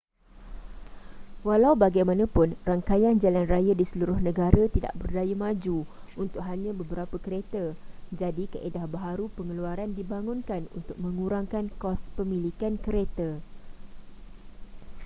walau bagaimanapun rangkaian jalan raya di seluruh negara tidak berdaya maju untuk hanya beberapa kereta jadi kaedah baharu pengeluaran dibangunkan untuk mengurangkan kos pemilikan kereta